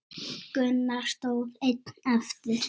Gunnar stóð einn eftir.